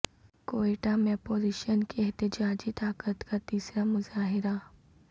کوئٹہ میں اپوزیشن کی احتجاجی طاقت کا تیسرا مظاہرہ